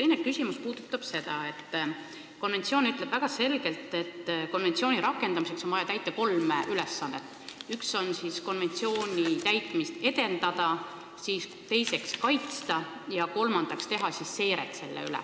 Minu teine küsimus puudutab seda, et konventsioon ütleb väga selgelt, et konventsiooni rakendamiseks on vaja täita kolm ülesannet: esiteks tuleb konventsiooni täitmist edendada, teiseks seda kaitsta ja kolmandaks teha seiret.